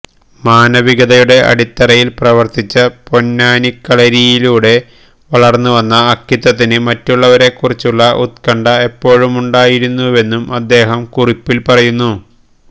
മാനവികതയുടെ അടിത്തറയില് പ്രവര്ത്തിച്ച പൊന്നാനിക്കളരിയിലുടെ വളര്ന്നുവന്ന അക്കിത്തത്തിന് മറ്റുള്ളവരെക്കുറിച്ചുള്ള ഉത്കണ്ഠ എപ്പോഴുമുണ്ടായിരുന്നുവെന്നും അദേഹം കുറിപ്പില് പറയുന്നു